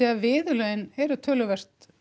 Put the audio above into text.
að viðurlögin eru töluvert